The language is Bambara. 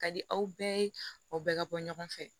Ka di aw bɛɛ ye o bɛɛ ka bɔ ɲɔgɔn fɛ